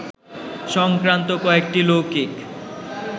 সংক্রান্ত কয়েকটি লৌকিক